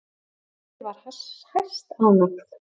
Ég var hæstánægð.